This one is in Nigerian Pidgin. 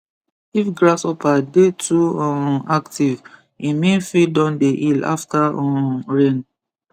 if grasshopper dey too um active e mean field don dey heal after um rain